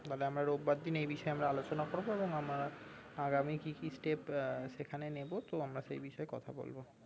তাহলে আমরা রোববার দিন এই বিষয়ে আলোচনা করবো এবং আমরা আগামী কি কি step আহ সেখানে নেবো তো আমরা সেই বিষয়ে কথা বলবো